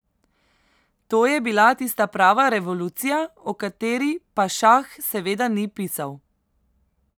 To je bila tista prava revolucija, o kateri pa šah seveda ni pisal ...